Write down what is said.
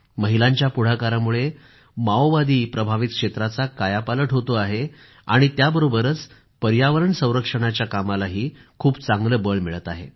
महिलांच्या पुढाकारामुळे माओवादी प्रभावित क्षेत्राचा कायापालट होत आहे आणि त्याबरोबरच पर्यावरण संरक्षणाच्या कामालाही खूप चांगलं बळ मिळत आहे